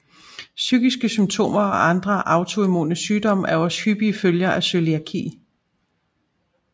Psykiske symptomer og andre autoimmune sygdomme er også hyppige følger af cøliaki